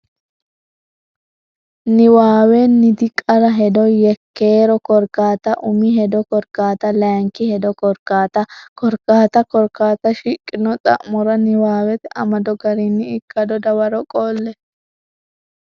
Niwaawenniti qara hedo Yekkeero Korkaata Umi hedo Korkaata Layinki hedo Korkaata Korkaata Korkaata shiqqino xa mora niwaawete amado garinni ikkado dawaro qolle.